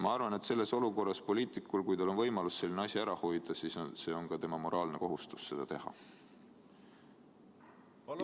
Ma arvan, et sellises olukorras on poliitikul, kui tal on võimalus selline asi ära hoida, moraalne kohustus seda teha.